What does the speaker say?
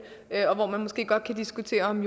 og hvor man måske godt kan diskutere om